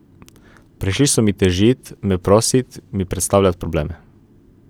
Prišli so mi težit, me prosit, mi predstavljat probleme.